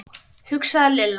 hugsaði Lilla.